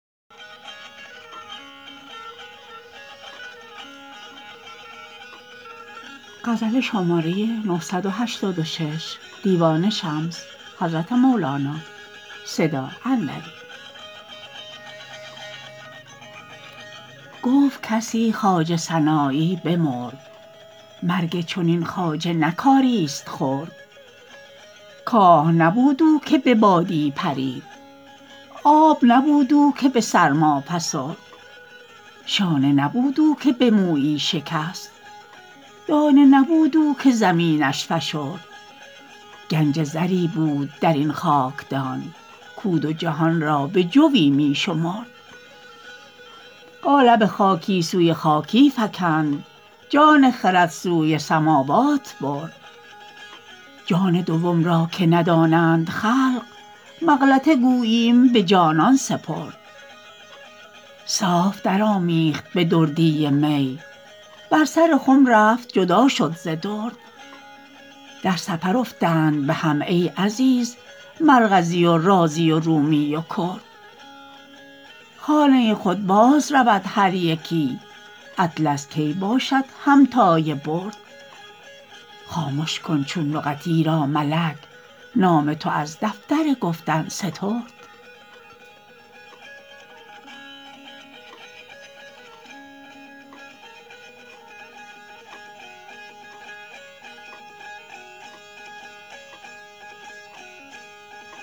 گفت کسی خواجه سنایی بمرد مرگ چنین خواجه نه کاریست خرد کاه نبود او که به بادی پرید آب نبود او که به سرما فسرد شانه نبود او که به مویی شکست دانه نبود او که زمینش فشرد گنج زری بود در این خاکدان کو دو جهان را بجوی می شمرد قالب خاکی سوی خاکی فکند جان خرد سوی سماوات برد جان دوم را که ندانند خلق مغلطه گوییم به جانان سپرد صاف درآمیخت به دردی می بر سر خم رفت جدا شد ز درد در سفر افتند به هم ای عزیز مرغزی و رازی و رومی و کرد خانه خود بازرود هر یکی اطلس کی باشد همتای برد خامش کن چون نقط ایرا ملک نام تو از دفتر گفتن سترد